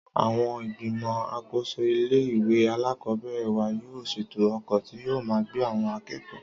Àwon ìgbìmò àkóso ilé ìwé alákòóbèrè wa yóò sètò okò tí yóò máa gbé àwon akékòó